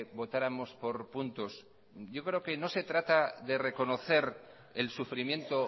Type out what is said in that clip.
votáramos por puntos yo creo que no se trata de reconocer el sufrimiento